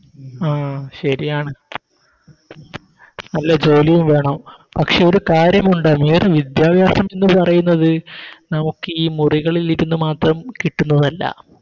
ആ ശരിയാണ് നല്ല ജോലിയും വേണം പക്ഷെ ഒരു കാര്യമുണ്ട് ഈയൊരു വിദ്യഭ്യാസം എന്ന് പറയുന്നത് നമുക്കി മുറികളിലിരുന്ന് മാത്രം കിട്ടുന്നതല്ല